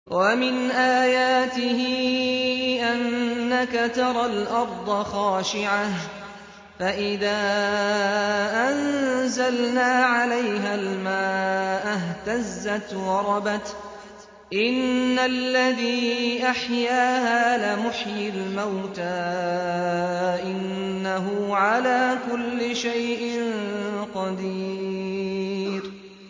وَمِنْ آيَاتِهِ أَنَّكَ تَرَى الْأَرْضَ خَاشِعَةً فَإِذَا أَنزَلْنَا عَلَيْهَا الْمَاءَ اهْتَزَّتْ وَرَبَتْ ۚ إِنَّ الَّذِي أَحْيَاهَا لَمُحْيِي الْمَوْتَىٰ ۚ إِنَّهُ عَلَىٰ كُلِّ شَيْءٍ قَدِيرٌ